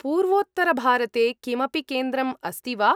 पूर्वोत्तरभारते किमपि केन्द्रं अस्ति वा?